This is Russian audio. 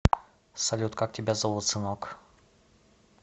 салют как тебя зовут сынок